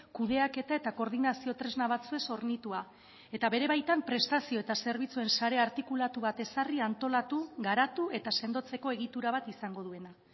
kudeaketa eta koordinazio tresna batzuez hornitua eta bere baitan prestazio eta zerbitzuen sare artikulatu bat ezarri antolatu garatu eta sendotzeko egitura bat izango duena